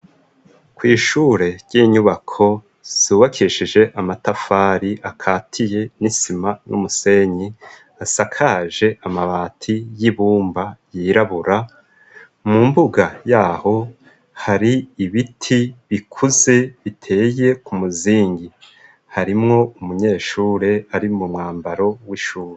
kw' ishure ry'inyubako zubakishije amatafari akatiye n'isima n'umusenyi, asakaje amabati y'ibumba yirabura. Mu mbuga yaho hari ibiti bikuze biteye ku muzingi, harimwo umunyeshure ari mu mwambaro w'ishure